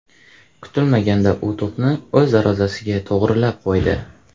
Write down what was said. Kutilmaganda u to‘pni o‘z darvozasiga to‘g‘rilab qo‘ydi.